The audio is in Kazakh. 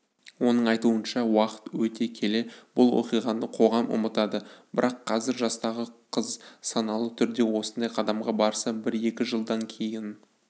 оның айтуынша уақыт өте келе бұл оқиғаны қоғам ұмытады бірақ қазір жастағы қыз саналы түрде осындай қадамға барса бір-екі жылдан кейін